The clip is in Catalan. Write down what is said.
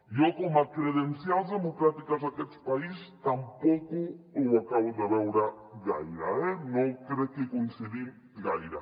jo com a credencials democràtiques d’aquests país tampoc ho acabo de veure gaire eh no crec que hi coincidim gaire